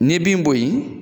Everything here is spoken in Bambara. N'i ye bin bo yen